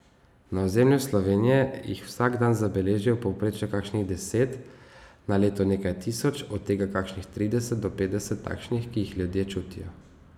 Na ozemlju Slovenije jih vsak dan zabeležijo v povprečju kakšnih deset, na leto nekaj tisoč, od tega kakšnih trideset do petdeset takšnih, ki jih ljudje čutijo.